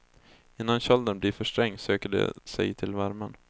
Innan kölden blir för sträng söker de sig till värmen.